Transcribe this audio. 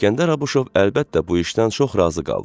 İsgəndər Abışov əlbəttə bu işdən çox razı qaldı.